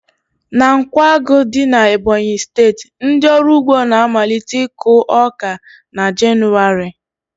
Na Nkwágu dị na Ebọnyi steeti, ndị ọrụ ugbo na-amalite iku ọka na Jenụwarị